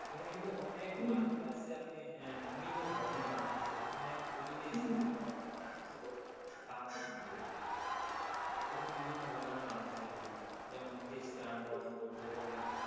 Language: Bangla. এখানে কিন্তু অনেক মানুষই আছে যে আপনি বিভিন্ন ধর্মের মানুষ আছে। এখানে শুধু যে ইসলাম ধর্মের মানুষই ছিল তা নয় কিন্তু। এখানেই বিভিন্ন ধর্মের মানুষ ছিল যেমন খ্রিস্টান বলেন, বৌদ্ধ বলেন,